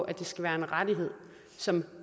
at det skal være en rettighed som